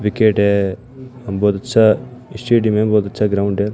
Wicket है अम बहोत अच्छा स्टेडियम मे बहुत अच्छा ग्राउंड है।